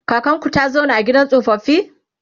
kakanku ta zauna a gidan tsofaffi?